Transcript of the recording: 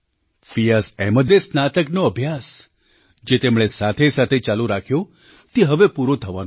ફિયાઝ અહમદે સ્નાતકનો અભ્યાસ જે તેમણે સાથેસાથે ચાલુ રાખ્યો તે હવે પૂરો થવાનો છે